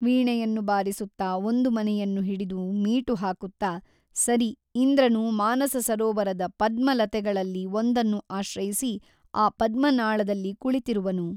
ವೀಣೆಯನ್ನು ಬಾರಿಸುತ್ತ ಒಂದು ಮನೆಯನ್ನು ಹಿಡಿದು ಮೀಟು ಹಾಕುತ್ತಾ ಸರಿ ಇಂದ್ರನು ಮಾನಸ ಸರೋವರದ ಪದ್ಮಲತೆಗಳಲ್ಲಿ ಒಂದನ್ನು ಆಶ್ರಯಿಸಿ ಆ ಪದ್ಮನಾಳದಲ್ಲಿ ಕುಳಿತಿರುವನು.